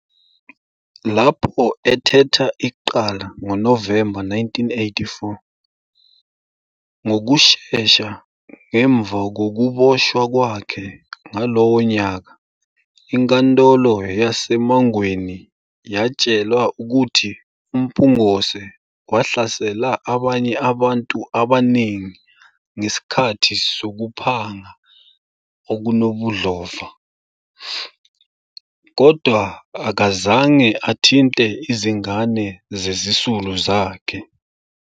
Lapho ethetha icala ngoNovemba 1984, ngokushesha ngemva kokuboshwa kwakhe ngalowo nyaka, inkantolo yase-Mangweni yatshelwa ukuthi uMpungose wahlasela abanye abantu abaningi ngesikhathi sokuphanga okunobudlova, kodwa akazange athinte izingane zezisulu zakhe.